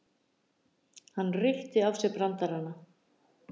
Hann reytti af sér brandarana.